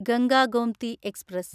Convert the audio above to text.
Ganga Gomti express